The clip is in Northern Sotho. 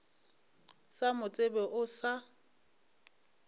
sa mo tsebe o sa